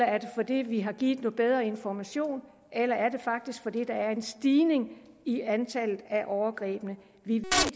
er det fordi vi har givet bedre information eller er det faktisk er en stigning i antallet af overgreb vi